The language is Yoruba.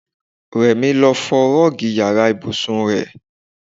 Rẹ̀mí lọ fọ Rọ́ọ́gì ìyára ibùsùn rẹ.